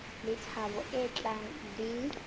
le thabo e tlang le